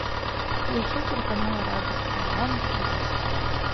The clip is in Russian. включи телеканал радость моя на телевизоре